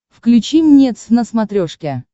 включи мне твз на смотрешке